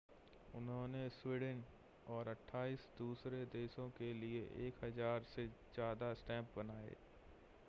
उन्होंने स्वीडन और 28 दूसरे देशों के लिए 1,000 से ज़्यादा स्टैम्प बनाए